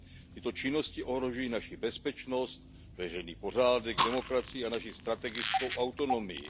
Tyto činnosti ohrožují naši bezpečnost, veřejný pořádek, demokracii a naši strategickou autonomii.